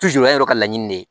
yɔrɔ ka laɲini de ye